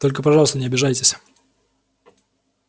только пожалуйста не обижайтесь